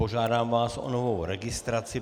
Požádám vás o novou registraci.